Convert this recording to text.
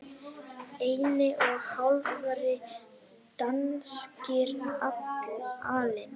einni og hálfri danskri alin